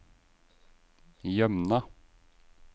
Jømna